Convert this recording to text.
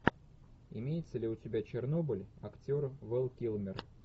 имеется ли у тебя чернобыль актер вэл килмер